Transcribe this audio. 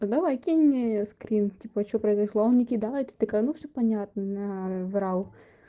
давай кинь мне скрин типа что произошло он не кидает я такая ну всё понятно наврал